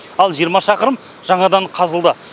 ал жиырма шақырым жаңадан қазылды